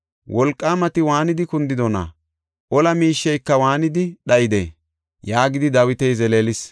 Wolqaamati waanidi kundidona? Ola miisheyka waanidi dhayidee?” yaagidi Dawiti zeleelis.